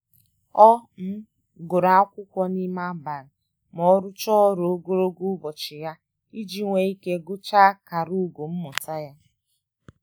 Ọ gụrụ akwụkwọ n'ime abalị ma ọ rucha ọru ogologo ubochi ya iji nwe ike gụchaa akara ugo mmụta ya.